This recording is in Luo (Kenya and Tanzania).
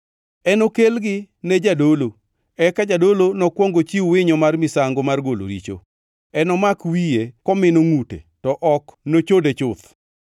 Enokelgi ne jadolo, eka jadolo nokwong ochiw winyo mar misango mar golo richo. Enomak wiye komino ngʼute, to ok nochode chuth,